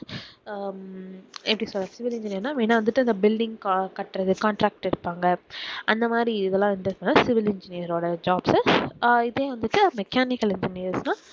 ஹம் எப்படி சொல்றது civil engineer னா main ஆ வந்துட்டு அந்த building க~கட்டுறது contract எடுப்பாங்க அந்த மாதிரி இதெல்லாம் civil engineers ஓட jobs உ அஹ் இதே வந்துட்டு mechanical engineer னா